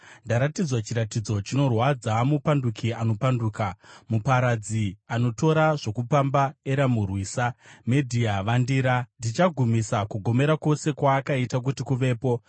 Ndaratidzwa chiratidzo chinorwadza. Mupanduki anopanduka, muparadzi anotora zvokupamba Eramu, rwisa! Medhia, vandira! Ndichagumisa kugomera kwose kwaakaita kuti kuvepo.